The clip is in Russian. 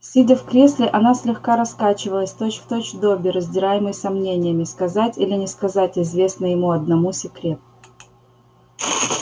сидя в кресле она слегка раскачивалась точь-в-точь добби раздираемый сомнениями сказать или не сказать известный ему одному секрет